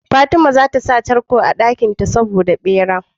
Fatima zata sa tarko a dakin ta saboda bera